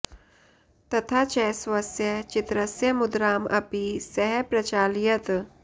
तथा च स्वस्य चित्रस्य मुद्राम् अपि सः प्रचालयत्